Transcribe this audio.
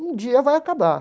Um dia vai acabar.